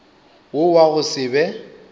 wo wa go se be